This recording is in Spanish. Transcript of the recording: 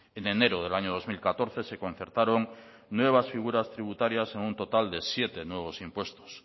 en enero del año dos mil catorce se concertaron nuevas figuras tributarias en un total de siete nuevos impuestos